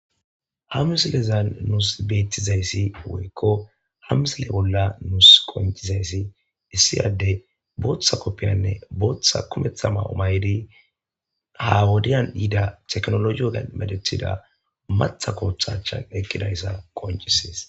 Ha musilezan nuus beettizayssi woykko hamsile bolla nuus qoncizayssi issiyadde booththa koppiyanne booththa kumetha ma7omaydi ha wodiyan diida teknoloioga medethida matha kooththachan eqqidayssa qoncisees